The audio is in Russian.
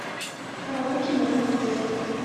караоке в моем отеле